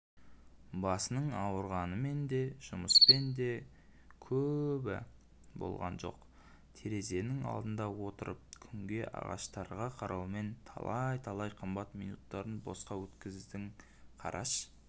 басының ауырғанымен де жұмыспен де кәбі болған жоқ терезенің алдында отырып күнге ағаштарға қараумен талай-талай қымбатты минуттарын босқа өткіздін қараш